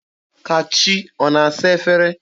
Kachi ọ na-asa efere?